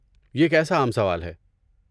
یہ کیسا عام سوال ہے۔